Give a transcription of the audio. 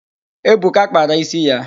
Ebuka kpara ísí ya